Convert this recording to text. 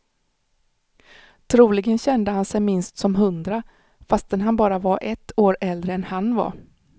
Troligen kände han sig minst som hundra, fastän han bara var ett år äldre än han var.